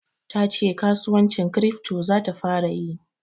Ta ce kasuwancin kirifto za ta fara yi.